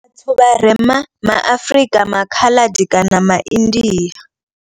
Vhathu vharema ma Afrika, maKhaladi kana maIndia.